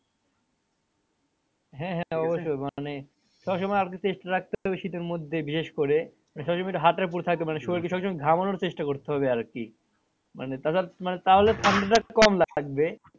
হ্যাঁ হ্যাঁ মানে সবসময় আপনি চেষ্টা রাখতে হবে শীতের মধ্যে বিশেষ করে মানে শরীল কে সবসময় ঘামানোর চেষ্টা করতে হবে আরকি মানে মানে তাহলে ঠান্ডাটা কম লাগবে।